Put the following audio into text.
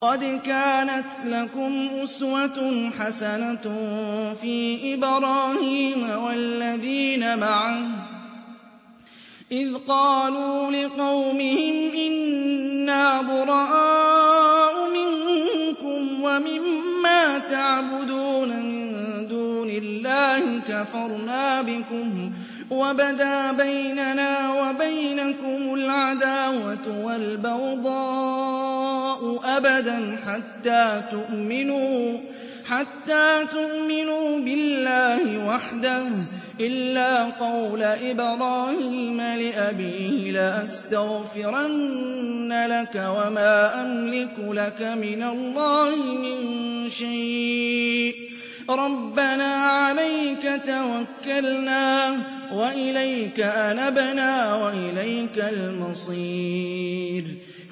قَدْ كَانَتْ لَكُمْ أُسْوَةٌ حَسَنَةٌ فِي إِبْرَاهِيمَ وَالَّذِينَ مَعَهُ إِذْ قَالُوا لِقَوْمِهِمْ إِنَّا بُرَآءُ مِنكُمْ وَمِمَّا تَعْبُدُونَ مِن دُونِ اللَّهِ كَفَرْنَا بِكُمْ وَبَدَا بَيْنَنَا وَبَيْنَكُمُ الْعَدَاوَةُ وَالْبَغْضَاءُ أَبَدًا حَتَّىٰ تُؤْمِنُوا بِاللَّهِ وَحْدَهُ إِلَّا قَوْلَ إِبْرَاهِيمَ لِأَبِيهِ لَأَسْتَغْفِرَنَّ لَكَ وَمَا أَمْلِكُ لَكَ مِنَ اللَّهِ مِن شَيْءٍ ۖ رَّبَّنَا عَلَيْكَ تَوَكَّلْنَا وَإِلَيْكَ أَنَبْنَا وَإِلَيْكَ الْمَصِيرُ